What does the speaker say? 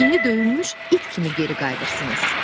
İndi döyülmüş it kimi geri qayıdırsınız.